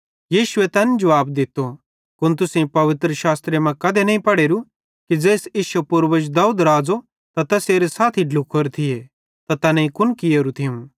यीशुए तैन जुवाब दित्तो कुन तुसेईं पवित्रशास्त्रे मां कधे नईं पढ़ेरू कि ज़ेइस इश्शे पूर्वज दाऊद राज़ो त तैसेरे साथी ढ्लुखोरे थिये त तैनेईं कुन कियेरू थियूं